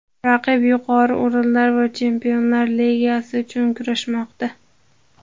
Raqib yuqori o‘rinlar va Chempionlar Ligasi chun kurashmoqda.